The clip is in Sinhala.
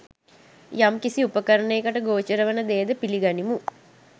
යම් කිසි උපකරණයකට ගෝචර වන දෙයද පිලිගනිමු.